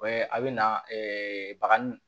a bɛ na bakan